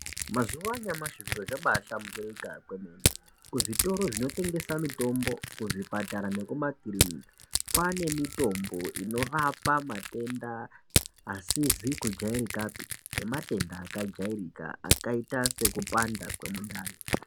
Mazuva anyamashi zviro zvabahlamburuka kwemene kuzvitoro zvinotengesa mutombo kuzvipatara nekumakiriniki kwane mitombo inorapa matenda asizi kujairikapi nematenda akajairika akaita sekupanda kwemundani.